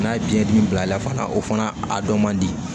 N'a ye biyɛn dimi bilala fana o fana a dɔ man di